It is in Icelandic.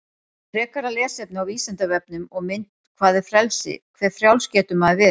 Frekara lesefni á Vísindavefnum og mynd Hvað er frelsi, hve frjáls getur maður verið?